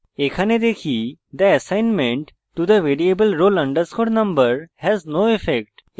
এখানে দেখি the assignment to the variable roll _ number has no effect